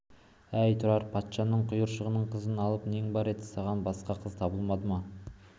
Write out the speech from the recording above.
әй тұрар-ай патшаның құйыршығының қызын алып нең бар еді саған басқа қыз табылмады ма